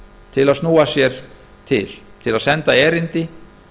til að snúa sér til til að senda erindi